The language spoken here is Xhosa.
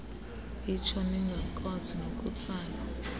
itsho ningakwazi nokutsala